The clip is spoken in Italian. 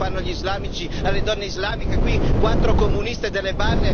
Ma perché non si parla dell'infibulazione praticano gli islamici alle donne islamiche?